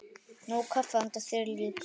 Nóg kaffi handa þér líka.